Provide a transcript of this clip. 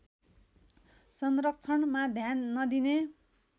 संरक्षणमा ध्यान नदिने